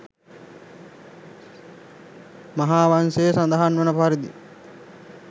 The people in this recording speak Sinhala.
මහා වංශයේ සඳහන් වන පරිදි